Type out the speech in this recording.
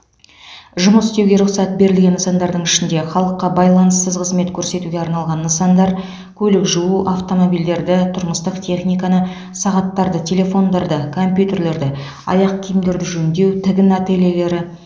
жұмыс істеуге рұқсат берілген нысандардың ішінде халыққа байланыссыз қызмет көрсетуге арналған нысандар көлік жуу автомобильдерді тұрмыстық техниканы сағаттарды телефондарды компьютерлерді аяқ киімдерді жөндеу тігін ательелері